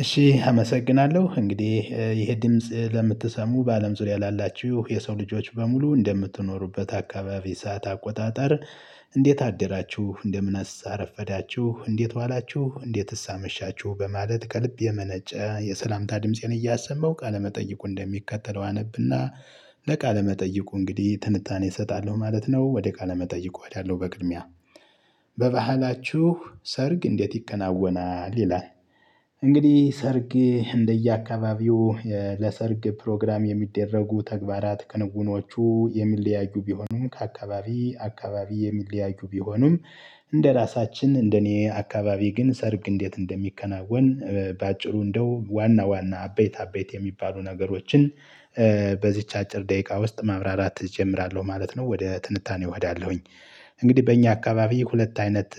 እሺ አመሰግናለሁ እንግዲህ ይሄ ድምጽ ለምትሰሙ በአለም ዙሪያ ላላችሁ የሰው ልጆች በሙሉ እንደምትኖሩበት አካባቢ ሰዓት አቆጣጠር? እንዴት አደራችሁ እንደምንስ አረፈዳችሁ እንዴት ዋላችሁ እንዴትስ አመሻችሁ። በማለት ከልብ የመነጨ የሠላምታ ድምፄን እያሰማው ቃለመጠይቁን እንደሚከተለው አነብና ለቃለ መጠይቁ እንግዲህ ትንታኔ እሰጣለሁ ማለት ነው። ወደ ቃለ መጠይቁ እሄዳለው። በቅድሚያ በባህላችሁ ሰርግ እንዴት ይከናወናል ይላል? እንግዲህ ሰርግ እንደየአካባቢው ለሰርግ ፕሮግራም የሚደረጉ ተግባራት ክንውኖቹ የሚለያዩ ቢሆኑም ከአካባቢ አካባቢ የሚለያዩ ቢሆኑም። እንደራሳችን እንደኔ አካባቢ ግን ሰርግ እንዴት እንደሚከናወን። በአጭሩ እንደው ዋና ዋና አበይት አበይት የሚባሉ ነገሮችን በዚች አጭር ደቂቃ ውስጥ ማብራራት እጀምራለሁ ማለት ነው። ወደ ትንታኔ እሄዳለሁኝ። እንግዲህ በእኛ አካባቢ ሁለት አይነት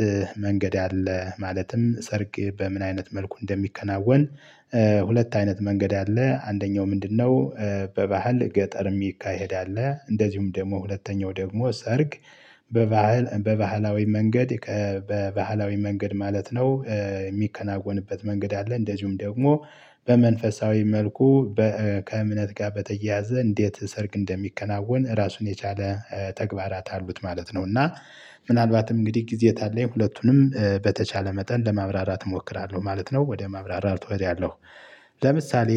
መንገድ አለ። ማለትም ሰርግ በምን አይነት መልኩ እንደሚከናወን ሁለት አይነት መንገድ አለ አንደኛው ምንድንነው? በባህል ገጠር የሚካሄድ አለ። እንደዚሁም ደግሞ ሁለተኛው ደግሞ ሰርግ በባህል በባህላዊ መንገድ ከ በባህላዊ መንገድ ማለት ነው። የሚከናወንበት መንገድ አለ። እንደዚሁም ደግሞ በመንፈሳዊ መልኩ በ ከእምነት ጋር በተያያዘ እንዴት ሰርግ እንደሚከናወን ራሱን የቻለ ተግባራት አሉት ማለት ነው። እና ምናልባትም እንግዲህ ጊዜ ከ አለኝ ሁለቱንም በተቻለ መጠን ለማብራራት እሞክራለሁ ማለት ነው። ወደ ማብራራት እወዳለሁ። ለምሳሌ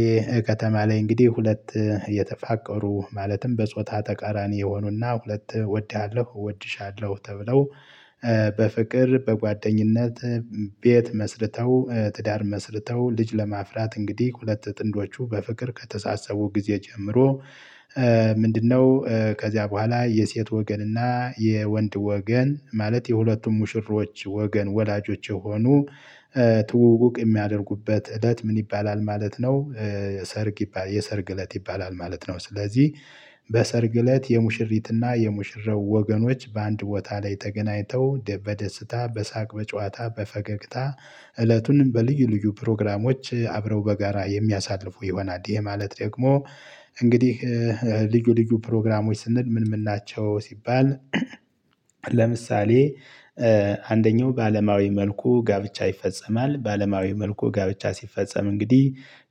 ከተማ ላይ እንግዲህ ሁለት የተፋቀሩ ማለትም በጾታ ተቃራኒ የሆኑና ሁለት እወድሃለሁ እወድሻለሁ ተብለው። በፍቅር በጓደኝነት ቤት መስርተው ትዳር መስርተው ልጅ ለማፍራት እንግዲህ ሁለት ጥንዶቹ በፍቅር ከተሳሰቡ ጊዜ ጀምሮ። ምንድንነው? ከዚያ በኋላ የሴት ወገን እና የወንድ ወገን ማለት የሁለቱም ሙሽሮች ወገን ወላጆች የሆኑ ትውውቅ የሚያደርጉበት እለት ምን ይባላል ማለት ነው። ሰርግ ይባ የሰርግ እለት ይባላል ማለት ነው። ስለዚህ በሰርግ እለት የሙሽሪት እና የሙሽራው ወገኖች በአንድ ቦታ ላይ ተገናኝተው በደስታ በሳቅ በጨዋታ በፈገግታ እለቱንም በልዩ ልዩ ፕሮግራሞች አብረው በጋራ የሚያሳልፉ ይሆናል። ይሄ ማለት ደግሞ እንግዲህ ልዩ ልዩ ፕሮግራሞች ስንል ምን ምን ናቸው? ሲባል። ለምሳሌ አንደኛው በዓለማዊ መልኩ ጋብቻ ይፈጸማል በዓለማዊ መልኩ ጋብቻ ሲፈጸም እንግዲህ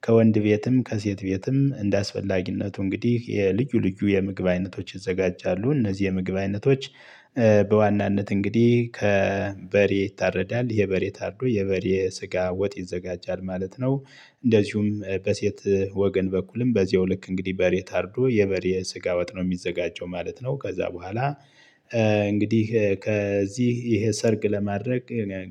ከወንድ ቤትም ከሴት ቤትም እንደ አስፈላጊነቱ እንግዲህ የልዩ ልዩ የምግብ አይነቶች ይዘጋጃሉ። እነዚህ የምግብ አይነቶች በዋናነት እንግዲህ ከበሬ ይታረዳል የበሬ ታርዶ የበሬ ስጋ ወጥ ይዘጋጃል። ማለት ነው። እንደዚሁም በሴት ወገን በኩልም በዚሁ ልክ እንግዲህ በሬ ታርዶ የበሬ ስጋ ወጥ ነው የሚዘጋጀው ማለት ነው። ከዛ በኋላ። እንግዲህ ከዚህ ይሄ ሰርግ ለማድረግ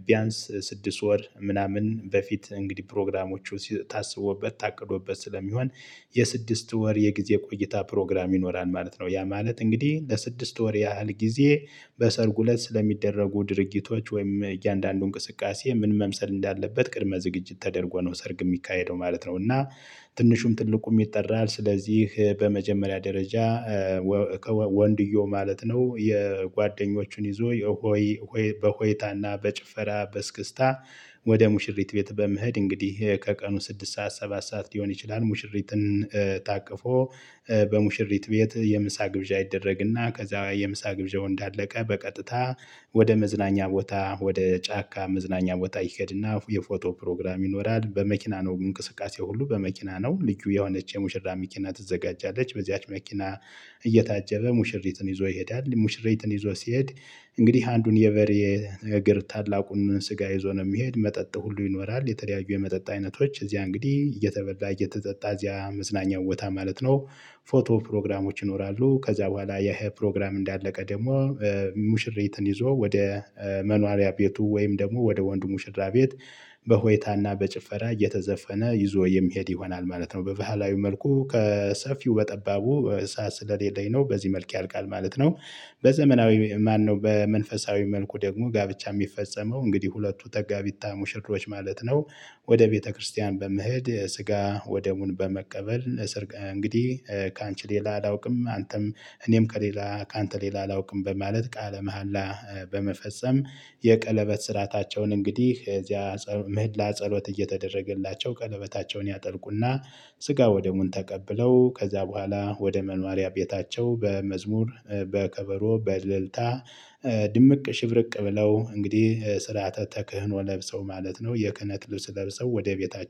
ቢያንስ ስድስት ወር ምናምን በፊት እንግዲህ ፕሮግራሞቹ ሲ ታሰቦበት ታቅዶበት ስለሚሆን። የስድስት ወር የጊዜ ቆይታ ፕሮግራም ይኖራል ማለት ነው። ያ ማለት እንግዲህ ለስድስት ወር ያህል ጊዜ በሰርጉ እለት ስለሚደረጉ ድርጊቶች ወይም እያንዳንዱ እንቅስቃሴ ምን መምሰል እንዳለበት ቅድመ ዝግጅት ተደርጎ ነው ሰርግ የሚካሄደው ማለት ነው። እና ትንሹም ትልቁም ይጠራል ስለዚህ በመጀመሪያ ደረጃ ወከወ ወንድየው ማለት ነው የጓደኞቹን ይዞ የሆይ ሆይ በሆይታና በጭፈራ በእስክስታ። ወደ ሙሽሪት ቤት በመሄድ እንግዲህ ከቀኑ ስድስት ሰዓት ሰባት ሰዓት ሊሆን ይችላል። ሙሽሪትን ታቅፎ በሙሽሪት ቤት የምሳ ግብዣ ይደረግና ከዛ የምሳ ግብዣው እንዳለቀ በቀጥታ። ወደ መዝናኛ ቦታ ወደ ጫካ መዝናኛ ቦታ ይሄድና የፎቶ ፕሮግራም ይኖራል። በመኪና ነው እንቅስቃሴ ሁሉ በመኪና ነው። ልዩ የሆነች የሙሽራ መኪና ትዘጋጃለች በዚያች መኪና። እየታጀበ ሙሽሪትን ይዞ ይሄዳል ሙሽሪትን ይዞ ሲሄድ። እንግዲህ አንዱን የበሬ እግር ታላቁን ስጋ ይዞ ነው የሚሄድ መጠጥ ሁሉ ይኖራል። የተለያዩ የመጠጥ አይነቶች እዚያ እንግዲህ እየተበላ እየተጠጣ እዚያ መዝናኛ ቦታ ማለት ነው። ፎቶ ፕሮግራሞች ይኖራሉ። ከዛ በኋላ ይሄ ፕሮግራም እንዳለቀ ደግሞ። ሙሽሪትን ይዞ ወደ መኖሪያ ቤቱ ወይም ደግሞ ወደ ወንዱ ሙሽራ ቤት። በሆይታና በጭፈራ እየተዘፈነ ይዞ የሚሄድ ይሆናል ማለት ነው። በባህላዊ መልኩ ከሰፊው በጠባቡ ሰዓት ስለሌለኝ ነው በዚህ መልክ ያልቃል ማለት ነው። በዘመናዊ ማነው? በመንፈሳዊ መልኩ ደግሞ ጋብቻ የሚፈጸመው እንግዲህ ሁለቱ ተጋቢታ ሙሽሮች ማለት ነው። ወደ ቤተክርስቲያን በመሄድ ስጋ ወደሙን በመቀበል። እንግዲህ ካንቺ ሌላ አላውቅም። አንተም እኔም ከሌላ ካንተ ሌላ አላውቅም። በማለት ቃለ መሃላ በመፈጸም። የቀለበት ሥርዓታቸውን እንግዲህ እዚያ ጸ ምህላ ጸሎት እየተደረገላቸው ቀለበታቸውን ያጠልቁ። እና ስጋ ወደሙን ተቀብለው ከዛ በኋላ ወደ መኖሪያ ቤታቸው በመዝሙር በከበሮ በእልልታ። ድምቅ ሽብርቅ ብለው እንግዲህ ስርዓተ ተክህኖ ለብሰው ማለት ነው የክህነት ልብስ ለብሰው ወደ ቤታቸው